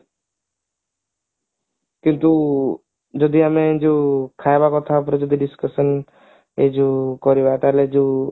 କିନ୍ତୁ ଯଦି ଆମେ ଯୋଉ ଖାଇବା କଥା ଉପରେ ଯଦି discussion ଯୋଉ କରିବା ତାହେଲେ ଯୋଉ